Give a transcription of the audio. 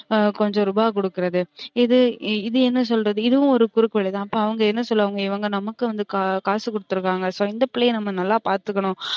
கொஞ்சம் ரூபா குடுகுறது இது இது என்ன சொல்றது இதுவும் ஒரு குறுக்கு வழி தான் அப்ப அவுங்க என்ன சொல்லுவாங்க இவுங்க நமக்கு வந்து காசு குடுத்துருக்கங்க so இந்த பிள்ளைய நம்ம நல்ல பாத்துக்கனும்